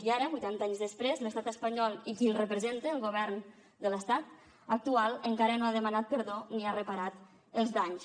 i ara vuitanta anys després l’estat espanyol i qui el representa el govern de l’estat actual encara no ha demanat perdó ni ha reparat els danys